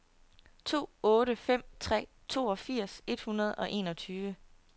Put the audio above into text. to otte fem tre toogfirs et hundrede og enogtyve